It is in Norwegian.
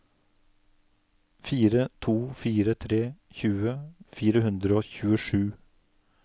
fire to fire tre tjue fire hundre og tjuesju